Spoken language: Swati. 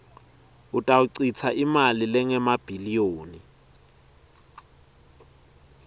utawuchitsa imali lengemabhiliyoni